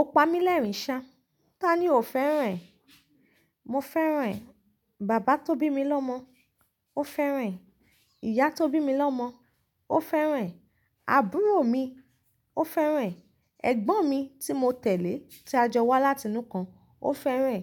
O pa mí lẹ́rìn sha. Tani o fẹ́ràn ẹ? Mo fẹ́ràn ẹ̀. Bàbá tó bí mi lọ́mọ, ó fẹ́ràn ẹ. Ìyá tó bí mi lọ́mọ, ó fẹ́ràn ẹ. Àbúrò mi, ó fẹ́ràn ẹ. Ẹ̀gbọ́n mi tí mo tẹ̀lé, tí a jọ wá láti inú kan, ó fẹ́ràn ẹ.